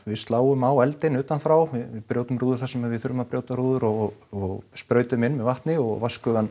við sláum á eldinn utan frá við brjótum rúður þar sem við þurfum að brjóta rúður og sprautum inn með vatni og